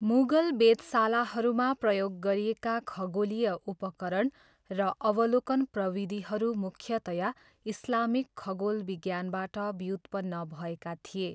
मुगल वेधशालाहरूमा प्रयोग गरिएका खगोलीय उपकरण र अवलोकन प्रविधिहरू मुख्यतया इस्लामिक खगोल विज्ञानबाट व्युत्पन्न भएका थिए।